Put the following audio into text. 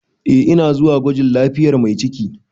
Eh ina zuwa gwajin lafiyar mai ciki.